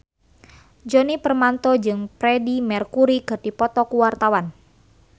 Djoni Permato jeung Freedie Mercury keur dipoto ku wartawan